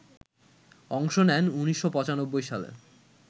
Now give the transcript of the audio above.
অংশ নেন ১৯৯৫ সালে